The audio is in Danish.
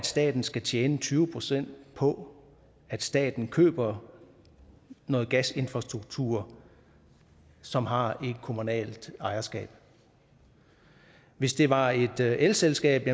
staten skal tjene tyve procent på at staten køber noget gasinfrastruktur som har et kommunalt ejerskab hvis det var et elselskab